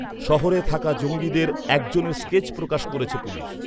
শহরে থাকা জঙ্গিদের একজনের স্কেচ প্রকাশ করেছে পুলিশ।